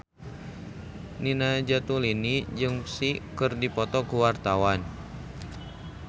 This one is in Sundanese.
Nina Zatulini jeung Psy keur dipoto ku wartawan